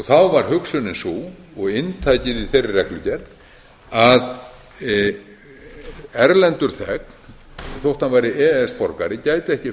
þá var hugsunin sú og inntakið í þeirri reglugerð að erlendur þegn þó hann væri e e s borgari gæti ekki